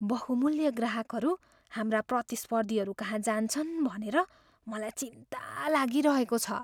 बहुमूल्य ग्राहकहरू हाम्रा प्रतिस्पर्धीहरूकहाँ जान्छन् भनेर मलाई चिन्ता लागिरहेको छ।